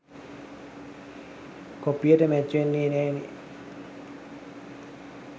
කොපියට match වෙන්නෙ නෑනේ